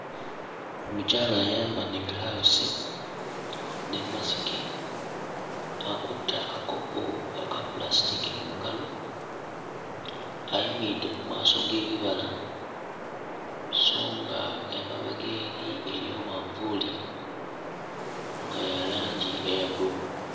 Omukyala ayambadde giraavuzi ne masiki akutte akakopo aka pulasitiki mu ngalo, ayimiride mu maaso g'ebibala so nga emabega eri eriyo manvuli nga ya langi eya bbululu.